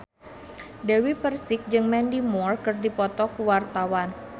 Dewi Persik jeung Mandy Moore keur dipoto ku wartawan